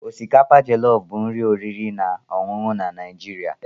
Osikapa Jọlọf bụ nri oriri na ọṅụṅụ na Naijiria.